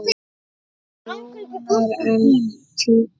Rúnar: En tíkó?